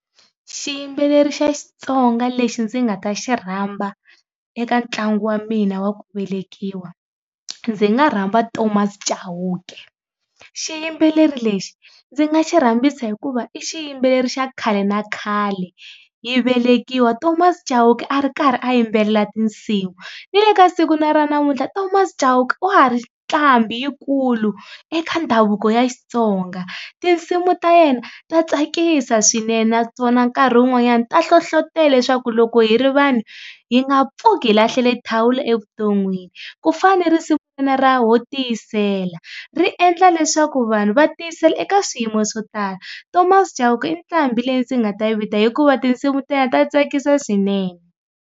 Xiyimbeleri xa Xitsonga lexi ndzi nga ta xi rhamba eka ntlangu wa mina wa ku velekiwa ndzi nga rhamba Thomas Chauke, xiyimbeleri lexi ndzi nga xi rhambisa hikuva i xiyimbeleri xa khale na khale. Hi velekiwa Thomas Chauke a ri karhi a yimbelela tinsimu ni le ka siku na ra namuntlha Thomas Chauke wa ha ri nqambi yikulu eka ndhavuko ya Xitsonga tinsimu ta yena ta tsakisa swinene naswona nkarhi wun'wanyana ta hlohlotelo leswaku loko hi ri vanhu hi nga pfuki hi lahlile thawula evuton'wini, ku fana ni risimu ra Ho tiyisela, ri endla leswaku vanhu va tiyisela eka swiyimo swo tala. Thomas Chauke i nqambi leyi ndzi nga ta yi vita hikuva tinsimu ta yena ta tsakisa swinene.